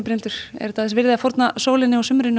Brynhildur er þetta þess virði að fórna sólinni og sumrinu